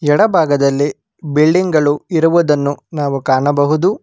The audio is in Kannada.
ಎಡ ಭಾಗದಲ್ಲಿ ಬಿಲ್ಡಿಂಗ್ ಗಳು ಇರುವುದನ್ನು ನಾವು ಕಾಣಬಹುದು.